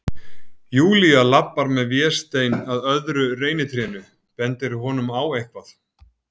Júlía labbar með Véstein að öðru reynitrénu, bendir honum á eitthvað.